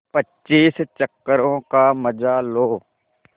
पच्चीस चक्करों का मजा लो